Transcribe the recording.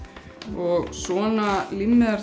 og svona